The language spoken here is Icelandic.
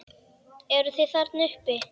Eruð þið þarna uppi!